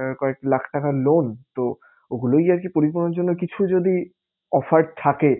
আহ কয়েক লাখ টাকা loan তো ওগুলোই আরকি পরিপূরণের জন্য কিছু যদি offer থাকে